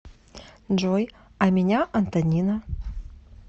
джой а меня антонина